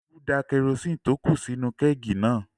Olú da kerosini tí ó kù sí inú-u kẹ́ẹ̀gì náà